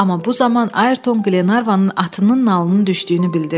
Amma bu zaman Ayrton Qlenarvanın atının nalının düşdüyünü bildirdi.